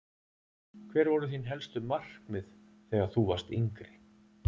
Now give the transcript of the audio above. Hver voru þín helstu markmið þegar þú varst yngri?